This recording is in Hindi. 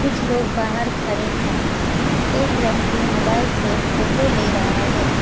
कुछ लोग बाहर खड़े है एक व्यक्ति मोबाइल से फोटो ले रहा है।